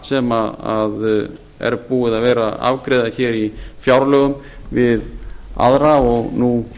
sem er búið að vera að afgreiða í fjárlögum við aðra og nú